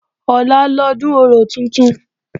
Ọ̀la lọ́dún orò tuntun